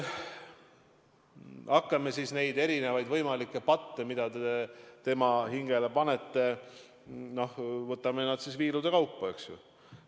Hakkame siis neid erinevaid võimalikke patte, mida te tema hingele panete, viilude kaupa läbi vaatama.